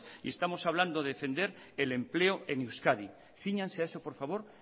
y estamos hablando de defender el empleo en euskadi cíñanse a eso por favor